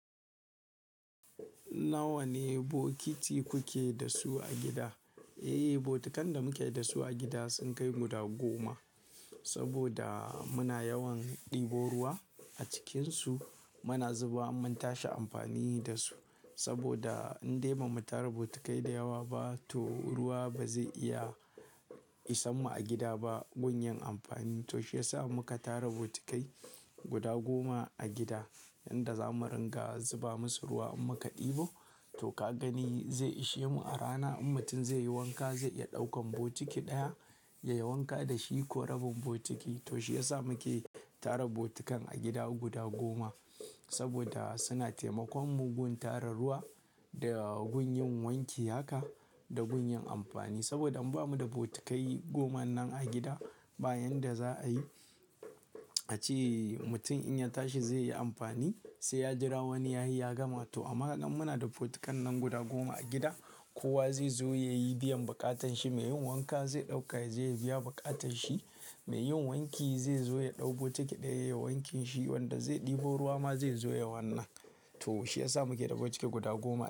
Nawa ne bokiti kuke da su a gida? Eh, bokitan da muke da su a gida sun kai guda goma. Saboda muna yawan ɗebo ruwa a cikinsu, muna zuba, mun tashi amfani da su. Saboda in dai ba mu tara botikai da yawa ba to ruwa ba zai iya isa mu a gida ba gun yin amfani. To shi ya sa muka tara botikai guda goma a gida, yanda za mu ringa zuba musu ruwa in muka ɗebo. To ka gani zai ishe mu a rana in mutum zai yi wanka zai iya ɗaukan botiki ɗaya ya yi wanka da shi ko rabin botiki. To shi ya sa muke tara botikan a gida guda goma. Saboda suna taimakon mu gun tara ruwa da gun yin wanki haka da gun yin amfani. Saboda in ba mu da botikai goma nan a gida, bayanda za a yi, a ci mutum in ya tashi zai yi amfani sai ya jira wani yayi ya gama. To amma nan muna da botikan nan guda goma a gida, kowa zai zo ya yi biyan buƙatan shi. Mai yin wanka zai ɗaukata zai biya buƙatan shi, mai yin wanki zai zo ya ɗau botiki ɗaya ya yi wankin shi, wanda zai ɗebo ruwa ma zai zo ya wanna. To shi ya sa muke da botiki guda goma.